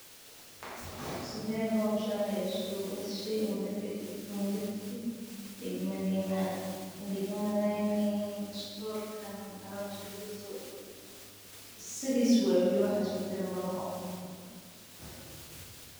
Sithe hoshani iskugu tagte dagmadina waxee iskugu tagte alabta kujirto sithisa waye wali waxba iskama badalin sithas waye.